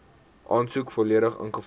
aansoek volledig ingevul